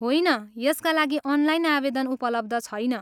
होइन, यसका लागि अनलाइन आवेदन उपलब्ध छैन।